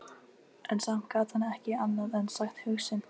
En samt gat hann ekki annað en sagt hug sinn.